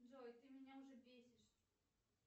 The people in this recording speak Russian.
джой ты меня уже бесишь